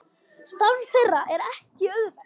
Starf þeirra er ekki auðvelt